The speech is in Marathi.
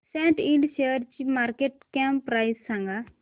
सॅट इंड शेअरची मार्केट कॅप प्राइस सांगा